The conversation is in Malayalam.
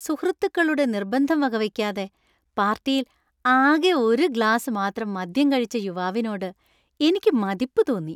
സുഹൃത്തുക്കളുടെ നിർബന്ധം വകവെക്കാതെ പാർട്ടിയിൽ ആകെ ഒരു ഗ്ലാസ് മാത്രം മദ്യം കഴിച്ച യുവാവിനോട് എനിക്ക് മതിപ്പ് തോന്നി.